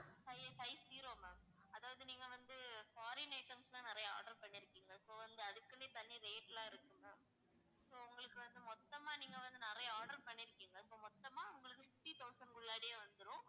five~ five zero ma'am அதாவது நீங்க வந்து foreign items லாம் நிறைய order பண்ணிருக்கீங்க so வந்து அதுக்குன்னே தனி rate லாம் இருக்கு ma'am so உங்களுக்கு வந்து மொத்தமா நீங்க வந்து நிறைய order பண்ணிருக்கீங்க so மொத்தமா உங்களுக்கு sixty thousand குள்ளாடி வந்துரும்.